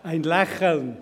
(«... ein Lächeln!»